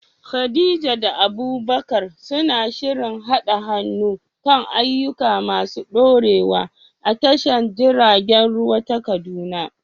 Khadija da Abubakar suna shirin haɗa hannu kan ayyuka masu ɗorewa a tashar jiragen ruwa ta Kaduna.